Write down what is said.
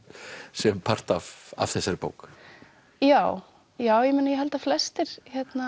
sem part af þessari bók já já ég meina ég held að flestir